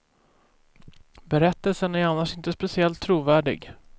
Berättelsen är annars inte speciellt trovärdig.